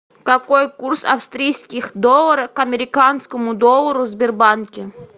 какой курс австрийских долларов к американскому доллару в сбербанке